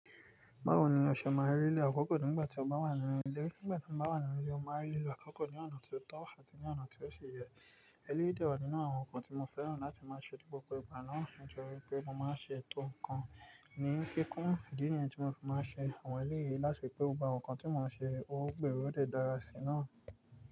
Bawo ni ọṣọ máa rí ni akọ́kọ́ nígbà tí o bá wà nínú ilé? Nígbà tí mo bá wà nínú ilé, mo máa rí lò akọ́kọ́ ní ọ̀nà tí ó tọ́ àti ní ọ̀nà tí ó ṣe yẹ. Ẹ̀leyì dẹ́ wà nínú àwọn nǹkan tí mo fẹ́ràn láti máa ṣe, jù bọ́kọ̀ ìgbà náà. O jẹ́wí pé mo máa ṣe ẹ̀tò nǹkan ní kíkún. Ìdí ni yẹn tí mo fi máa ṣe àwọn èleyi láti ri pé ó gba nǹkan tí mo máa ṣe, ó gbèérọ́, ó dẹ dara sí náà.